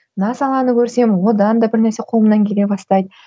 мына саланы көрсем одан да бірнәрсе қолымнан келе бастайды